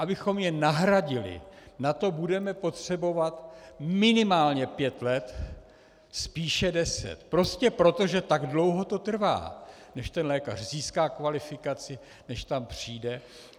Abychom je nahradili, na to budeme potřebovat minimálně pět let, spíše deset, prostě proto, že tak dlouho to trvá, než ten lékař získá kvalifikaci, než tam přijde.